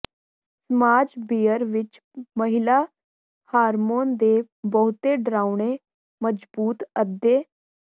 ਸਮਾਜ ਬੀਅਰ ਵਿਚ ਮਹਿਲਾ ਹਾਰਮੋਨ ਦੇ ਬਹੁਤੇ ਡਰਾਉਣੇ ਮਜ਼ਬੂਤ ਅੱਧੇ